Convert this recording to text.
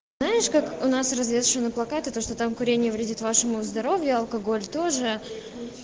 знаешь как у нас развешаны плакаты то что там курение вредит вашему здоровью алкоголь тоже